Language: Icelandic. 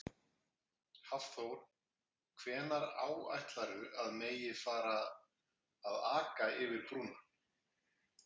Hafþór: Hvenær áætlarðu að megi að fara að aka yfir brúna?